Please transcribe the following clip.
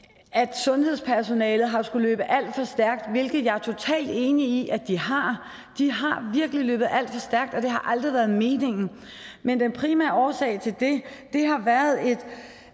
sundhedspersonalet har skullet løbe alt for stærkt hvilket jeg er totalt enig i at de har de har virkelig løbet alt for stærkt og det har aldrig været meningen men den primære årsag til det har været et